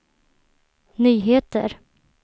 nyheter